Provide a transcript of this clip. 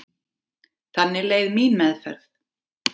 Þannig leið mín meðferð.